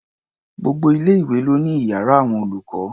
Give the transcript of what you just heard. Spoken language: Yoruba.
Gbogbo ilé-ìwé ló ní iyàrá àwọn olùkọ́.